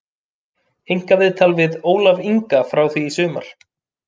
Einkaviðtal við Ólaf Inga frá því í sumar